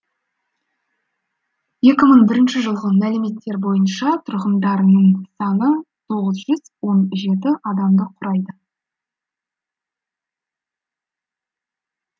екі мың бірінші жылғы мәліметтер бойынша тұрғындарының саны тоғыз жүз он жеті адамды құрайды